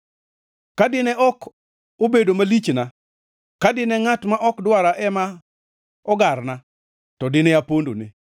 Ka dine ok obedo malichna ka dine ngʼat ma ok dwara ema ogarna, to dine apondone.